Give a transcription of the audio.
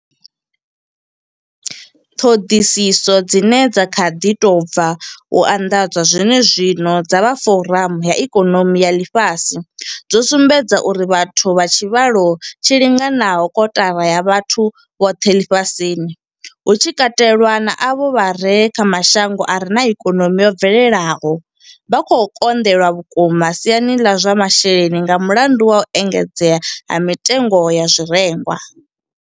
Ṱhoḓisiso dzine dza kha ḓi tou bva u anḓadzwa zwene zwino dza vha Foramu ya Ikonomi ya Ḽifhasi dzo sumbedza uri vhathu vha tshivhalo tshi linganaho kotara ya vhathu vhoṱhe ḽifhasini, hu tshi katelwa na avho vha re kha mashango a re na ikonomi yo bvelelaho, vha khou konḓelwa vhukuma siani ḽa zwa masheleni nga mulandu wa u engedzea ha mitengo ya zwirengwa.